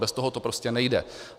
Bez toho to prostě nejde.